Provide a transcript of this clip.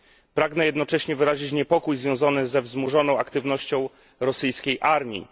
Pragnę jednocześnie wyrazić niepokój związany ze wzmożoną aktywnością rosyjskiej armii.